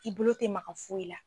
I bolo tɛ ma ka foyi la.